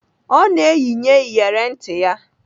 Ọ na-eyinye iyeri ntị ya.